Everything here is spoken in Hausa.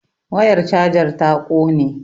wayar chajar ta ƙone